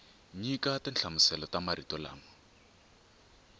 nyika tinhlamuselo ta marito lama